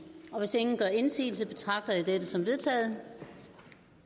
og hvis ingen gør indsigelse betragter jeg dette som vedtaget